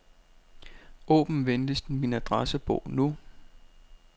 Åbn venligst min adressebog nu.